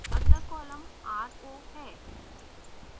अगला column ro है